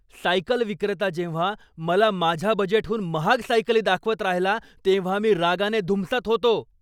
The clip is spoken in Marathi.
सायकल विक्रेता जेव्हा मला माझ्या बजेटहून महाग सायकली दाखवत राहिला तेव्हा मी रागाने धुमसत होतो.